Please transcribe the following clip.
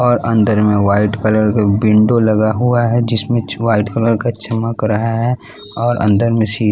और अंदर में वाइट कलर का विंडो लगा हुआ है जिसमें चव्हाईट कलर का चमक रहा है और अंदर में --